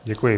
Děkuji.